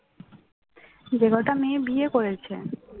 যে কটা মেয়ে বিয়ে করেছে